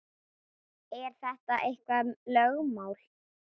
Er þetta eitthvað lögmál?